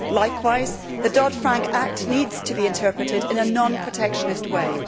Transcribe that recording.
Likewise, the Dodd Frank Act needs to be interpreted in a non protectionist way.